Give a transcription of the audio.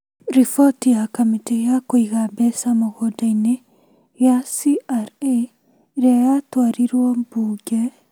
Riboti ya kamĩtĩ ya kũiga mbeca mũgũndainĩ gĩa CRA, ĩrĩa ya twarirwo mbunge,